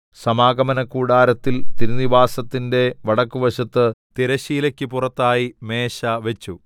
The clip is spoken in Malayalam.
സമാഗമനകൂടാരത്തിൽ തിരുനിവാസത്തിന്റെ വടക്കുവശത്ത് തിരശ്ശീലയ്ക്ക് പുറത്തായി മേശവച്ചു